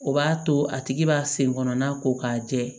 O b'a to a tigi b'a sen kɔnɔna ko k'a jɛ